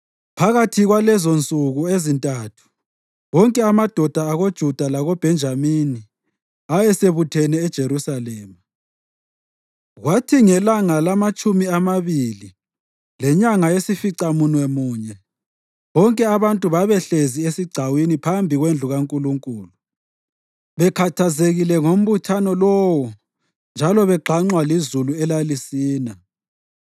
Phakathi kwalezonsuku ezintathu wonke amadoda akoJuda lakoBhenjamini ayesebuthene eJerusalema. Kwathi ngelanga lamatshumi amabili lenyanga yesificamunye bonke abantu babehlezi esigcawini phambi kwendlu kaNkulunkulu, bekhathazekile ngombuthano lowo njalo begxanxwa lizulu elalisina.